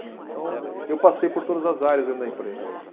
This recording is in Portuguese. Então, eu passei por todas as áreas dentro da empresa.